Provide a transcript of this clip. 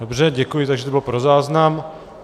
Dobře děkuji, takže to bylo pro záznam.